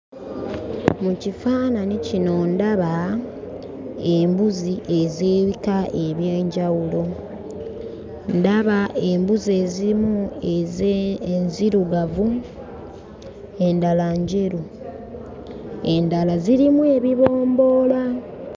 Mu kifaananyi kino ndaba embuzi ez'ebika eby'enjawulo. Ndaba embuzi emu ez'e enzirugavu, endala njeru, endala zirimu ebibomboola.